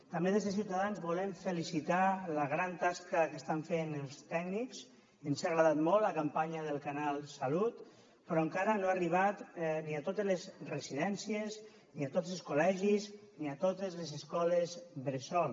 també des de ciutadans volem felicitar la gran tasca que estan fent els tècnics ens ha agradat molt la campanya del canal salut però encara no ha arribat ni a totes les residències ni a tots els col·legis ni a totes les escoles bressol